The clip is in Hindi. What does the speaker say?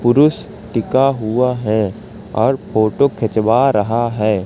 पुरुष टिका हुआ हैं और फोटो खिंचवा रहा हैं।